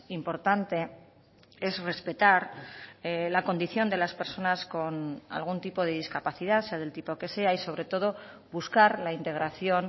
importante es respetar la condición de las personas con algún tipo de discapacidad sea del tipo que sea y sobre todo buscar la integración